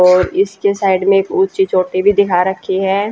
और इसके साइड में एक ऊंची चोटी भी दिखा रखी है।